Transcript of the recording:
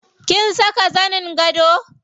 Kin saka zanin gado?